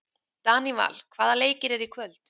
Daníval, hvaða leikir eru í kvöld?